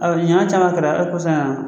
nin ɲɔgɔ caman kɛra hali kɔsan in na